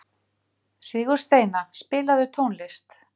Hvað gengur eiginlega á hérna hrópaði Ólafía Tólafía.